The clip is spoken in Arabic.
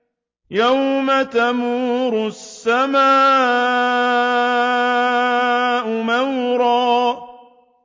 يَوْمَ تَمُورُ السَّمَاءُ مَوْرًا